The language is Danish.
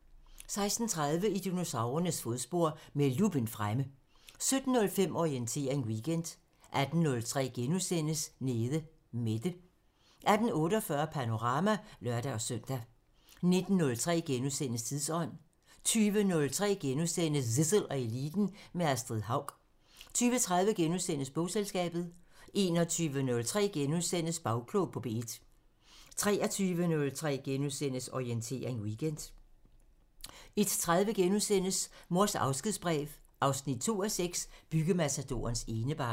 16:30: I dinosaurernes fodspor – med luppen fremme 17:05: Orientering Weekend 18:03: Nede Mette * 18:48: Panorama (lør-søn) 19:03: Tidsånd * 20:03: Zissel og Eliten: Med Astrid Haug * 20:30: Bogselskabet * 21:03: Bagklog på P1 * 23:03: Orientering Weekend * 01:03: Mors afskedsbrev 2:6 – Byggematadorens enebarn *